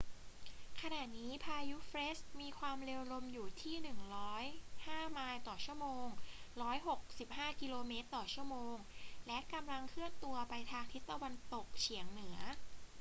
ขณะนี้พายุเฟรดมีความเร็วลมอยู่ที่ 105 ไมล์ต่อชั่วโมง 165 กม./ชม. และกำลังเคลื่อนตัวไปทางทิศตะวันตกเฉียงเหนือ